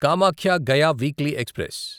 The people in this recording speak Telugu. Kamakhya Gaya weekly express